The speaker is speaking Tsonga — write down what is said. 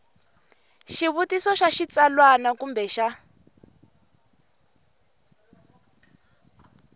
xivutiso xa xitsalwana kumbe xa